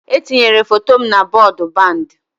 E tinyere foto m na bọọdụ bandi